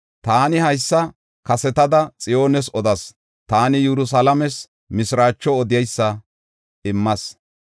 Taani haysa kasetada Xiyoones odas; taani Yerusalaames mishiraacho odeysa immas.